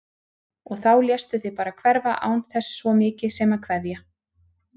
Og þá léstu þig bara hverfa án þess svo mikið sem að kveðja!